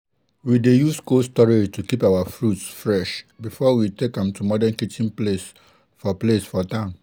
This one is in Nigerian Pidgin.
we dey use cold storage to keep our fruits fresh before we take am to modern kitchen place for place for town